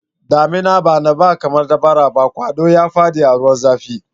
Daminan bana ba kamar ta bara ba, kwado ya fada ruwan zafi.